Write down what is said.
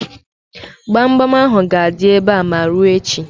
Gbamgbam ahụ ga-adị ebe a ma o ruo echi.